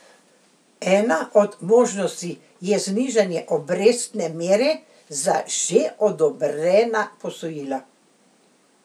Ena od možnosti je znižanje obrestne mere za že odobrena posojila.